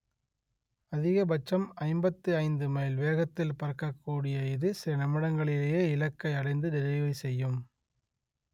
அதிகபட்சம் ஐம்பத்தி ஐந்து மைல் வேகத்தில் பறக்கக்கூடிய இது சில நிமிடங்களிலேயே இலக்கை அடைந்து டெலிவரி செய்யும்